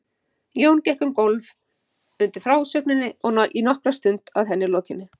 Jón gekk um gólf undir frásögninni og nokkra stund að henni lokinni.